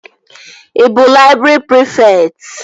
Ị bụ laịbrị prịfekt?